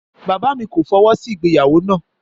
Bàbá mi ko fọwọsi ìgbéyàwó na